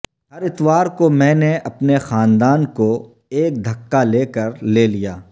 ہر اتوار کو میں نے اپنے خاندان کو ایک دھکا لے کر لے لیا